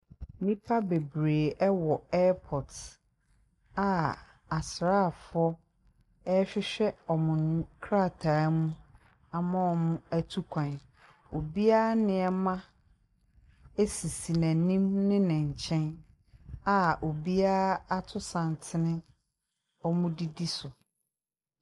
Nnipa bebree wɔ airport a asrafoɔ rehwehwɛ wɔn nkrataa mu ama wɔn atu kwan. Obiara nneɛma sisi n'anim ne nkyɛn a obiara ato santene wɔdidi so.